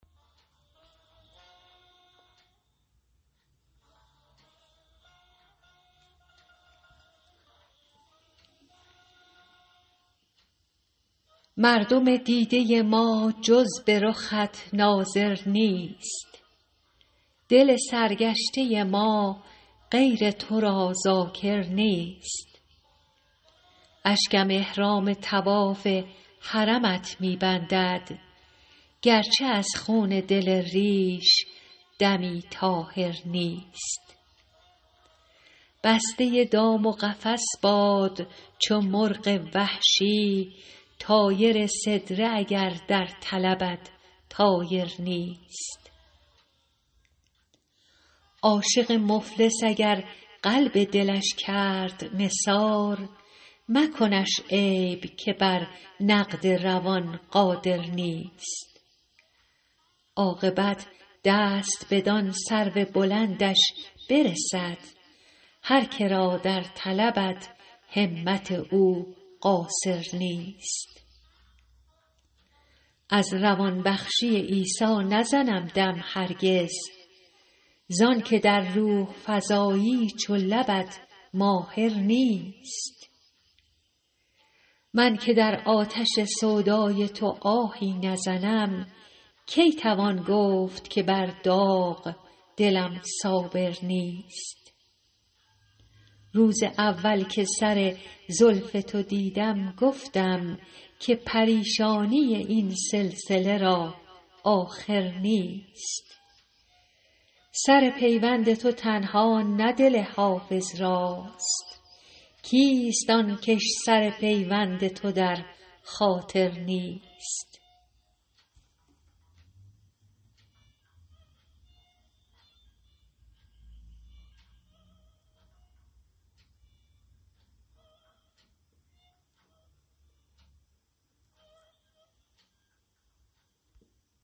مردم دیده ما جز به رخت ناظر نیست دل سرگشته ما غیر تو را ذاکر نیست اشکم احرام طواف حرمت می بندد گرچه از خون دل ریش دمی طاهر نیست بسته دام و قفس باد چو مرغ وحشی طایر سدره اگر در طلبت طایر نیست عاشق مفلس اگر قلب دلش کرد نثار مکنش عیب که بر نقد روان قادر نیست عاقبت دست بدان سرو بلندش برسد هر که را در طلبت همت او قاصر نیست از روان بخشی عیسی نزنم دم هرگز زان که در روح فزایی چو لبت ماهر نیست من که در آتش سودای تو آهی نزنم کی توان گفت که بر داغ دلم صابر نیست روز اول که سر زلف تو دیدم گفتم که پریشانی این سلسله را آخر نیست سر پیوند تو تنها نه دل حافظ راست کیست آن کش سر پیوند تو در خاطر نیست